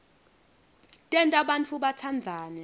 tenta bantfu batsandzane